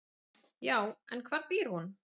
"""Já, en hvar býr hún?"""